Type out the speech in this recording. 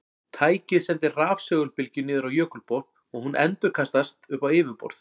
Tækið sendir rafsegulbylgju niður á jökulbotn og hún endurkastast upp á yfirborð.